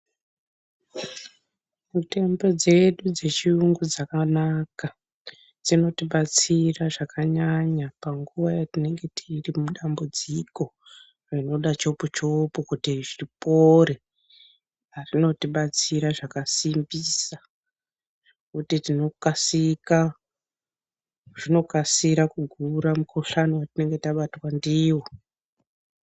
Mitombo dzedu dzechiyungu dzakanaka dzinotibatsira zvakanyanya panguwa yatinenge tiri mudambudziko rinoda chopu chopu kuti zvipore, zvinotibatsira zvakasimbisa zvinokasira kugura mukhuhlani watingenge tabatwa ndiwo.